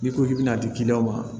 N'i ko k'i bɛ n'a di ma